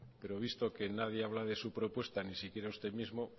pero visto que nadie habla de su propuesta ni siquiera usted mismo